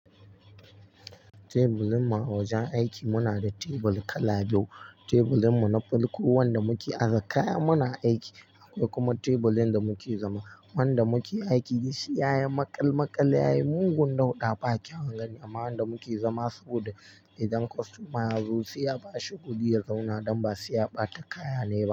Tebulin mu a wajen aiki muna da tebul kala biyu. Tebulin mu na farko wanda muke aza kaya muna aiki akwai kuma tebulin da muke zama. Wanda muke aiki duk shi yayi maƙal maƙal yayi mugun dauɗa ba kyan gani. Amma wanda muke zama saboda idan kostomar ya zo sai ya bashi kuɗi ya zauna don ba sai ya ɓata kaya ne ba.